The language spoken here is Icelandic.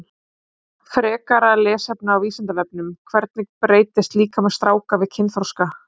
Frekara lesefni á Vísindavefnum: Hvernig breytist líkami stráka við kynþroska?